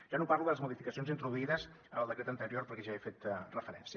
ja no parlo de les modificacions introduïdes en el decret anterior perquè ja hi he fet referència